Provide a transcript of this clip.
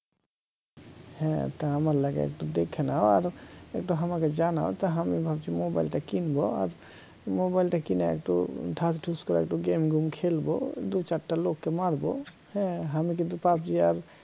হ্যা তা আমার লাগে তা একটু দেখে নাও একটু আমাকে জানাও তা আমি ভাবছি mobile টা কিনবো আর mobile টা কিনে একটু ঢাসঢুস করে একটু game গুম খেলবো দু চারটা লোককে মারবো হ্যা আমি কিন্তু pubg আর